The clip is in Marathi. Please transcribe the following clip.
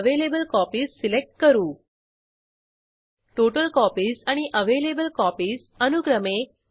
यासाठी अर्थसहाय्य National Mission on Education through ICT MHRD Government of India यांच्याकडून मिळालेले आहे